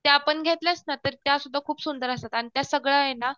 त्या पण घेतल्यास ना तर त्यासुद्धा खूप सुंदर असतात. आणि त्या सगळ्या ये ना